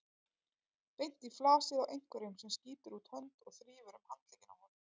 Beint í flasið á einhverjum sem skýtur út hönd og þrífur um handlegginn á honum.